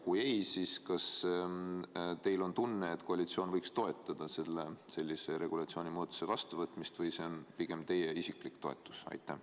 Kui ei ole, siis kas teil on tunne, et koalitsioon võiks toetada sellise regulatsioonimuudatuse vastuvõtmist või see on pigem teie isiklik toetus?